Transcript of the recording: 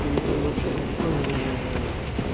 не вообще никто не